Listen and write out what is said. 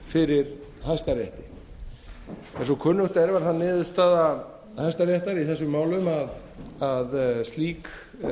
fyrir hæstarétti eins og kunnugt er varð það niðurstaða hæstaréttar í þessum málum að slík